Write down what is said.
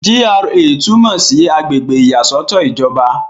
GRA túmọ̀ sí àgbègbè ìyàsọ́tọ̀ ìjọba.